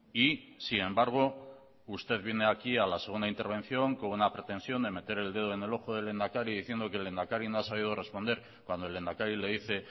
y sin embargo usted viene aquí a hacer una intervención con una pretensión de meter el dedo en el ojo del lehendakari diciendo que el lehendakari no ha sabido responder cuando el lehendakari le dice